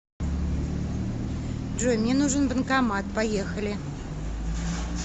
джой мне нужен банкомат поехали